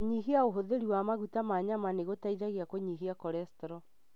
Kũnyihia ũhũthĩri wa maguta ma nyama nĩ gũteithagia kũnyihia kolestro.